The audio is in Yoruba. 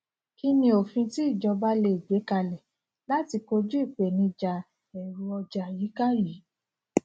kínní òfin tí ìjọba le è gbé kalẹ láti kojú ìpèníjà ẹru ọjà àyíká yìí